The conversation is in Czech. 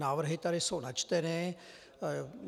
Návrhy tady jsou načteny.